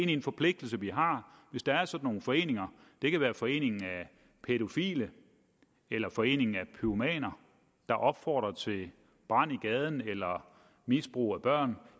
en forpligtelse vi har hvis der er sådan nogle foreninger det kan være foreningen af pædofile eller foreningen af pyromaner der opfordrer til brand i gaden eller misbrug af børn